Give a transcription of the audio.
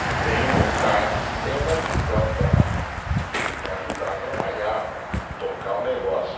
que tenham vontade, que tenham uma visão para, para ajudar a trabalhar, para tocar o negócio.